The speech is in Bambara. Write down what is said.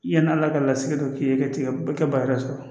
Yan'a ka la ka lasigi dɔ k'i ye ka tigɛ ba yɛrɛ sɔrɔ